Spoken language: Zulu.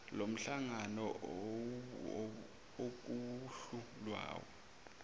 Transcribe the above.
lomhlangano okuwuhlu lwayo